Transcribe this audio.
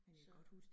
Så